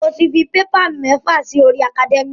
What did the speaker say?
Mo ti fi paper mẹ́fà si orí academia.